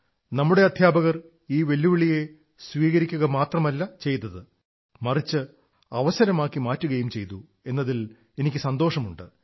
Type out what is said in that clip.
നമ്മുടെ അധ്യാപകർ ഈ വെല്ലുവിളിയെ സ്വീകരി ക്കുക മാത്രമല്ല ചെയ്തത് മിറച്ച് അവസരമാക്കി മാറ്റിയിരിക്കയും ചെയ്തു എന്നതിൽ എനിക്കു സന്തോഷമുണ്ട്